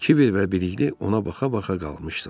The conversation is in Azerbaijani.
Kiber və Birlik ona baxa-baxa qalmışdılar.